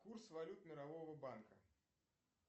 курс валют мирового банка